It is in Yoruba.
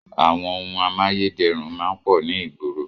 Àwọn ohun amáyédẹrùn máa ń pọ̀ ní ìgboro.